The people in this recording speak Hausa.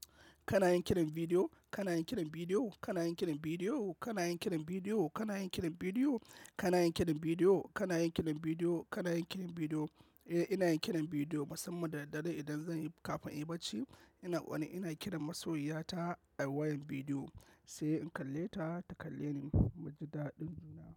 Kana yin kiran bidiyo? Kana yin kiran bidiyo? Kana yin kiran bidiyo? Kana yin kiran bidiyo? Kana yin kiran bidiyo? Kana yin kiran bidiyo? Kana yin kiran bidiyo? Kana yin kiran bidiyo? Eh, ina yin kiran bidiyo, musamman da daddare idan zan yi kafin inyibarci. Ina wani, ina kiran masoyiya ta a wayan bidiyo, sai in kalle ta, ta kalle ni, mu ji daɗin juna.